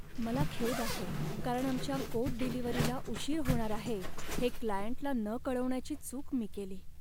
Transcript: मला खेद आहे, कारण आमच्या कोड डिलिव्हरीला उशीर होणार आहे हे क्लायंटला न कळवण्याची चूक मी केली.